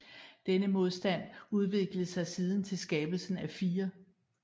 Denne modstand udviklede sig siden til skabelsen af 4